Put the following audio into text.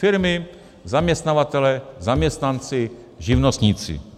Firmy, zaměstnavatelé, zaměstnanci, živnostníci.